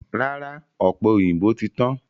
Rárá, ọ̀pẹ̀ òyìnbó ti tán.